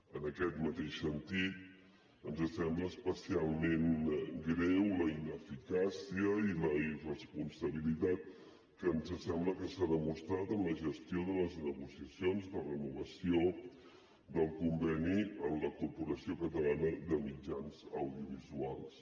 en aquest mateix sentit ens sembla especialment greu la ineficàcia i la irresponsabilitat que ens sembla que s’ha demostrat en la gestió de les negociacions de renovació del conveni en la corporació catalana de mitjans audiovisuals